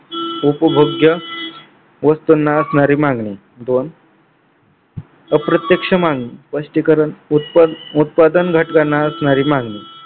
उपभोग्य वस्तुंना असणारी मागणी दोन अप्रत्यक्ष मागणी स्पष्टीकरण उत्पादन घटकांना असलेली मागणी